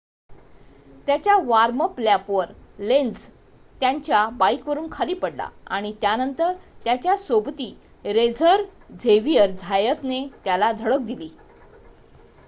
त्याच्या वॉर्म-अप लॅपवर लेन्झ त्याच्या बाइकवरून खाली पडला आणि त्यानंतर त्याच्या सोबती रेसर झेविअर झायतने त्याला धडक दिली